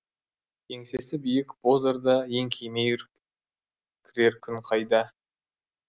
еңсесі биік боз орда еңкеймей кірер күн қайда